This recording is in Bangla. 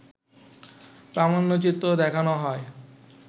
প্রামাণ্যচিত্র দেখানো হয়